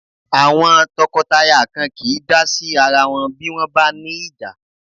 Àwọn tọkọtaya kan kìí dá sí ara wọn bí wọ́n bá ní ìjà.